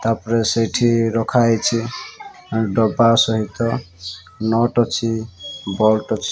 ତାପରେ ସେଇଠି ରଖାହେଇଛି ଏଣ୍ଡ ଡବା ସହିତ ନଟ ଅଛି ବଟ ଅଛି।